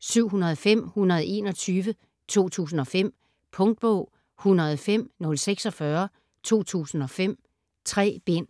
705121 2005. Punktbog 105046 2005. 3 bind.